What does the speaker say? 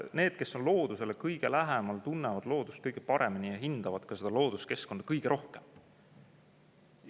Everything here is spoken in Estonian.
Need, kes on loodusele kõige lähemal, tunnevad loodust kõige paremini ja hindavad ka looduskeskkonda kõige rohkem.